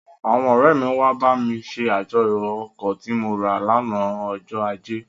Àwọn ọ̀rẹ́ mi wá bá mi ṣe àjọyọ̀ ọkọ̀ tí mo rà lánàá ọjọ ajé,